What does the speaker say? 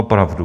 Opravdu.